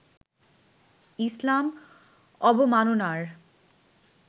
ইসলাম অবমাননার